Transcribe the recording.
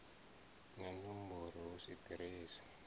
na nomboro hu si ḓiresi